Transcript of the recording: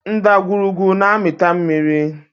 Ndagwurugwu na-amịta mmiri